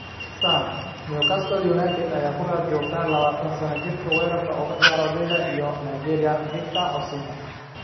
(Sun) Newcastle United ayaa ku raad joogta labatan sanno jirka weerarka uga ciyaara Lille iyo Nigeria Victor Osimhen.